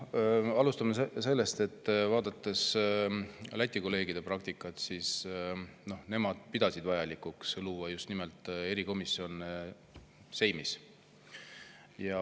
Alustame sellest, vaadates Läti kolleegide praktikat, et nemad pidasid vajalikuks luua just nimelt erikomisjon seimis.